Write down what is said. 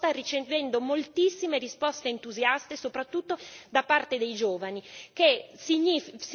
Ho fatto circolar questa proposta ricevendo moltissime risposte entusiaste, soprattutto da parte dei giovani.